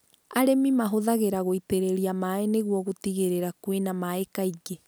Arĩmi mahũthagĩra gũitĩrĩria maĩ nĩguo gũtigĩrĩra kwĩna maĩ kaingĩ.